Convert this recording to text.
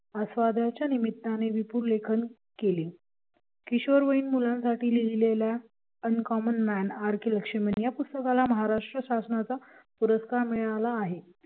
आस्वादाच्या निमित्ताने विपुल लेखन केले किशोरवयीन मुलांसाठी लिहिलेल्या uncommon man R K Laxman या पुस्तकाला महाराष्ट्र शासनाचा पुरस्कार मिळाला आहे